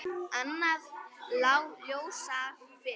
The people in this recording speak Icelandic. Annað lá ljósar fyrir.